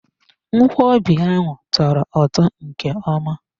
Ngwobi ahụ tọrọ ụtọ nke ọma.